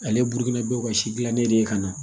Ale burukina bɛɛ ka si gilannen de ye ka na